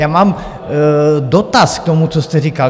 Já mám dotaz k tomu, co jste říkal.